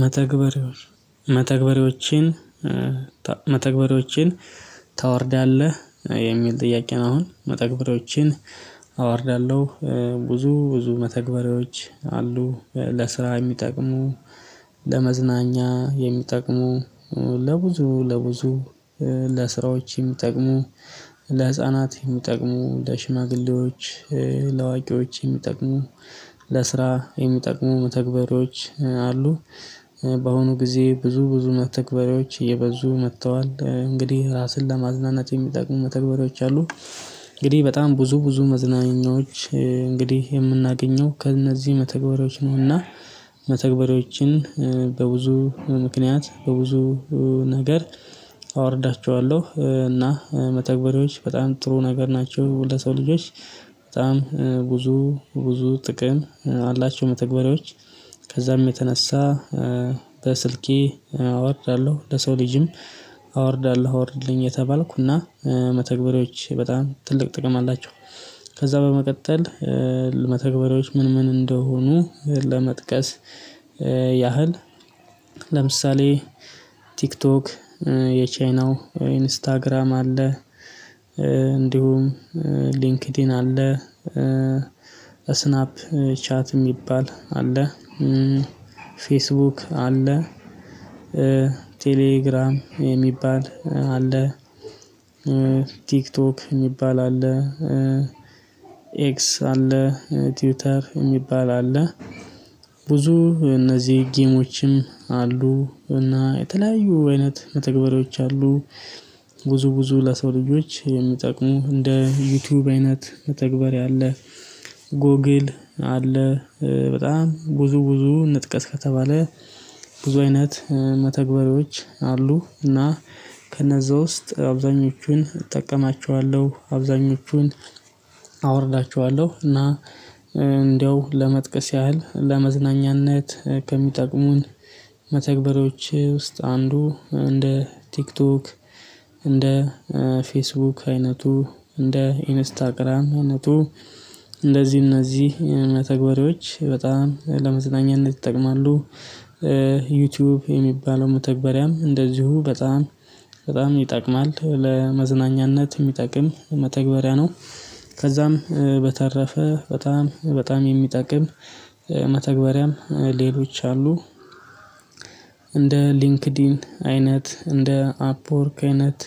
መተግበሪዎችን መተግበሪዎችን ታወርዳለህ? የሚል ጥያቄ ነው። አሁን መተግበሬዎችን አዋርዳለሁ። ብዙ ብዙ መተግበሬዎች አሉ፤ ለስራ የሚጠቅሙ ለመዝናኛ የሚጠቅሙ፣ ለብዙ ለብዙ ለስራዎች የሚጠቅሙ፣ ለህፃናት የሚጠቅሙ፣ ለሽማግሌዎች ላዋቂዎች የሚጠቅሙ፣ ለስራ የሚጠቅሙ መተግበሪዎች አሉ። በአሁኑ ጊዜ ብዙ ብዙ መተግበሪዎች እየበዙ መጥተዋል። እንግዲህ ራስን ለማዝናናት የሚጠቅሙ መተግበሪዎች አሉ። እንግዲህ በጣም ብዙ ብዙ መዝናኛዎች እንግዲህ የምናገኘው ከእነዚህ መተግበሪያዎች ነው። እና መተግበሪያዎችን በብዙ ምክንያት በብዙ ነገር አወርዳቸዋለሁ። እና መተግበሪዎች በጣም ጥሩ ነገር ናቸው። ለሰው ልጆች በጣም ብዙ ብዙ ጥቅም አላቸው መተግበሪያዎች። ከዛም የተነሳ በስልኬ አወርዳለሁ፤ ለሰው ልጅም አወርዳለሁ አወርድልኝ እየተባልኩ። እና መተግበሪዎች በጣም ትልቅ ጥቅም አላቸው። ከዛ በመቀጠል መተግበሪዎች ምን ምን እንደሆኑ ለመጥቀስ ያህል ለምሳሌ ቲክቶክ የቻይናው፣ ኢንስታግራም አለ፣ እንዲሁም ሊንክድኢን አለ፤ ስናፕ ቻት የሚባል አለ፤ ፌስቡክ አለ፤ ቴሌግራም የሚባል አለ። ቲክቶክ የሚባል አለ። ኤክስ አለ ቲውተር የሚባል አለ። ብዙ እነዚህ ጌሞችም አሉ። እና የተለያዩ አይነት መተግበሪዎች አሉ። ብዙ ብዙ ለሰው ልጆች የሚጠቁሙ እንደ ዩቲዩብ አይነት መተግበር አለ። ጎግል አለ። በጣም ብዙ ብዙ እንጥቀስ ከተባለ ብዙ አይነት መተግበሪያዎች አሉ። እና ከነዛ ውስጥ አብዛኞቹን እጠቀማቸዋለሁ። አብዛኞቹን አወርዳቸዋለሁ። እና እንደው ለመጥቀስ ያህል ለመዝናኛነት ከሚጠቅሙን መተግበሪያዎች ውስጥ አንዱ እንደ ቲክቶክ፣ እንደ ፌስቡክ አይነቱ፣ እንደ ኢንስታግራም አይነቱ እንደዚህ እነዚህ መተግበሪያዎች በጣም ለመዘናኘት ይጠቅማሉ። ዩቲዩብ የሚባለው መተግበሪያም እንደዚሁ በጣም በጣም ይጠቅማል። ለመዝናኛነት የሚጠቅም መተግበሪያ ነው። ከዛም በተረፈ በጣም በጣም የሚጠቅም መተግበሪያም ሌሎች አሉ። እንደ ሊንክዲን አይነት፣ እንደ አፕወርክ አይነት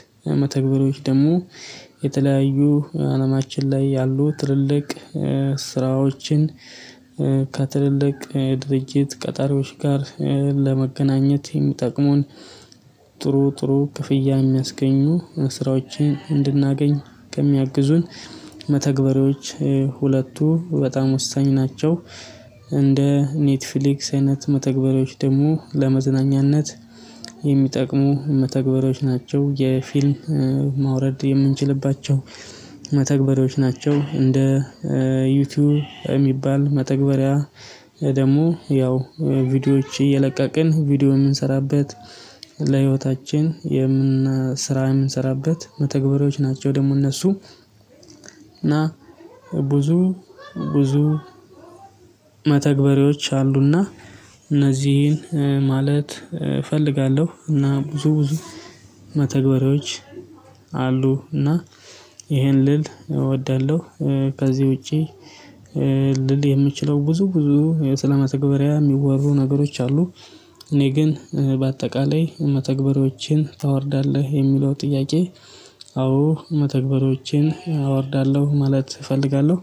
መተግበሪያዎች ደግሞ የተለያዩ አለማችን ላይ ያሉ ትልልቅ ስራዎችን ከትልልቅ ድርጅት ቀጣሪዎች ጋር ለመገናኘት የሚጠቅሙን ጥሩ ጥሩ ክፍያ የሚያስገኙ ስራዎችን እንድናገኝ የሚያግዙን መተግበሪዎች ሁለቱ በጣም ወሳኝ ናቸው። እንደ ኔትፍሊክስ አይነት መተግበሪያዎች ደግሞ ለመዝናኛነት የሚጠቅሙ መተግበሪያዎች ናቸው። የፊልም ማውረድ የምንችልባቸው መተግበሮች ናቸው። እንደ ዩቲዩብ የሚባል መተግበሪያ ደግሞ ያው ቪዲዮዎች እየለቀቅን ቪዲዮ የምንሰራበት ለህይወታችን የምን ስራ የምንሰራበት መተግበሪያዎች ናቸው። ደግሞ እነሱ እና ብዙ ብዙ መተግበሪዎች አሉ። እና እነዚህን ማለት እፈልጋለሁ። እና ብዙ ብዙ መተግበሪያዎች አሉ። እና ይሄን ልል እወዳለሁ። ከዚህ ውጪ ልል የምችለው ብዙ ብዙ ሰለ መተግበሪያ የሚወሩ ነገሮች አሉ። እኔ ግን በአጠቃላይ መተግበሪዎችን ታወርዳለህ የሚለው ጥያቄ አዎ መተግበሪዎችን አወርዳለሁ ማለት እፈልጋለሁ።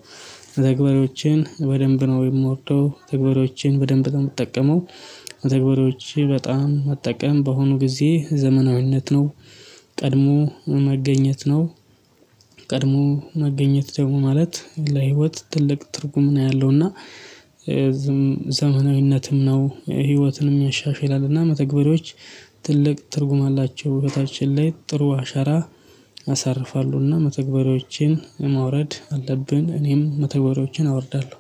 መተግበሪያዎችን በደንብ ነው የምወደው። መተግባሪያዎችን በደንብ ነው የምጠቀመው። መተግበሪያዎችን በጣም መጠቀም በአሁኑ ጊዜ ዘመናዊነት ነው። ቀድሞ መገኘት ነው። ቀድሞ መገኘት ደግሞ ማለት ለህይወት ትልቅ ትርጉም ነው ያለው። እና ዘመናዊነትም ነው። ህይወትንም ያሻሽላል። እና መተግበሪዎች ትልቅ ትርጉም አላቸው። ህይወታችን ላይ ጥሩ አሻራ ያሳርፋለሁ። እና መተግበሪያዎችን ማውረድ አለብን። እኔም መተግበሪያዎችን አወርዳለሁ።